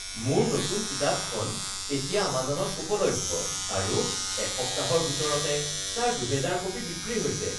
মোৰ নতুন কিতাপখন এতিয়া আমাজনত উপলভ্য আৰু এসপ্তাহৰ ভিতৰতে তাৰ ২০০০ কপি বিক্ৰী হৈছে